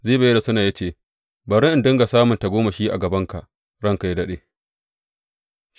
Ziba ya rusuna ya ce, Bari in dinga samun tagomashi a gabanka ranka yă daɗe.